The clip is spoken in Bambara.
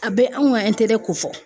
A bɛ anw ka ko fɔ.